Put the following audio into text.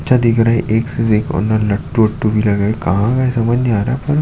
अच्छा दिख रहा है एक से एक कार्नर लट्टू वट्टु भी लगे है कहाँ गए समझ नहीं आ रहा पर --